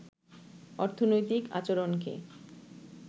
অর্থনৈতিক আচরণকে